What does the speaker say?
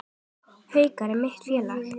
Haukar eru mitt félag.